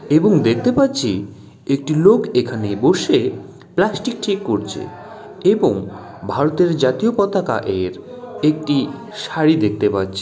এবং দেখতে পাচ্ছি একটি লোক এখানে বসে প্লাস্টিক ঠিক করছে এবং ভারতের জাতীয় পতাকা এর একটি শাড়ি দেখতে পাচ্ছে--